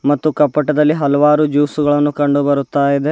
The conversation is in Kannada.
ಮತ್ತು ಕಪ್ಪಟದಲ್ಲಿ ಹಲವಾರು ಜ್ಯೂಸು ಗಳನ್ನು ಕಂಡು ಬರುತ್ತಾ ಇದೆ.